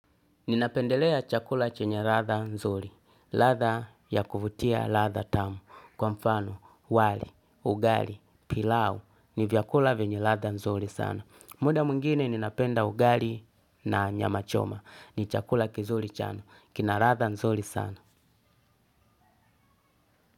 Ninapendelea chakula chenye ladha nzuri. Ladha ya kuvutia ladha tamu. Kwa mfano, wali, ugali, pilau. Ni vyakula venye ladha nzuri sana. Muda mwingine ninapenda ugali na nyama choma. Ni chakula kizuri sana. Kina ladha nzuri sana.